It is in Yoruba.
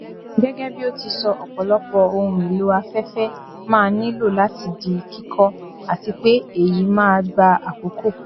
gẹgẹ bí ó ti sọ ọpọlọpọ ohun èlò afẹfẹ máa nílò láti di kíkọ àti pé èyí máa gba àkókò